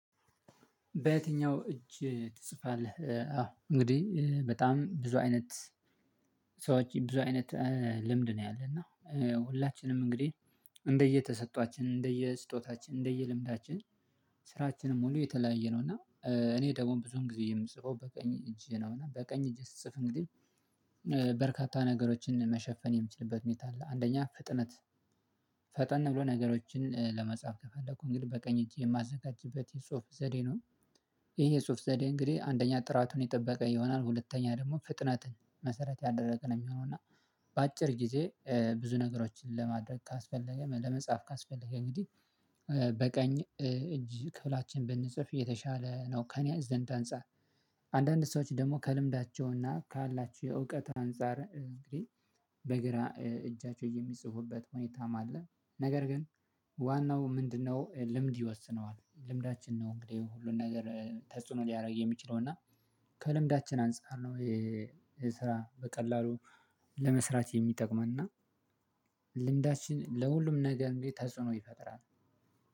በየትኛው እጅ ትጽፋለህ? አዎ እንግዲህ በጣም ብዙ አይነት ሰዎች ብዙ አይነት ልምድ ነው ያለና ሁላችንም እንግዲህ እንደየተሰጧችን እንደየስጦታችን እንደየ ልምዳችን ስራችንን ሙሉ የተለያየ ነው እና እኔ ደግሞ ብዙም ጊዜ የምጽፈው በቀኝ እጅ ነው እአ በቀኝ እጅ ስጽፍ እንግዲህ በርካታ ነገሮችን መሸፈን የምችልበት ሁኔታ አለ። አንደኛ ፍጥነት ፈጠን ብሎ ነገሮችን ለመጻፍ ከፈለኩ እንግዲህ በቀኝ እጅ የማዘጋጅበት የጽሁፍ ዘዴ ነው። ይሄ የጽሁፍ ዘዴ እንግዲህ አንደኛ ጥራቱን የጠበቀ ይሆናል ሁለተኛ ደግሞ ፍጥነትንመሰረት ያደረግ የሚሆነው እና በአጭር ጊዜ ብዙ ነገሮችን ለማድረግ ካስፈለገ ለመጻፍ ካስፈለገ እንግዲህ በቀኝ እጅ ክፍላችን ብንጽፍ እየተሻለ ነው። ከእኔ ዘንድ አንፃር አንዳንድ ሰዎች ደግሞ ከልምዳቸውና ካላችሁ የእውቀት አንፃር እንግዲህ በግራ እጃቸው የሚጽፉበት ሁኔታም አለ። ነገር ግን ዋናው ምንድነው? ልምድ ይወስነዋል ልምዳችን ነው። እንግዴ ሁሉን ነገር ተጽዕኖ ሊያደርግ የሚችለው እና ከልምዳችን አንፃር ነው። የስራ በቀላሉ ለመስራት የሚጠቅመን እና ልምዳችን ለሁሉም ነገር እንዴት ተጽዕኖ ይፈጥራል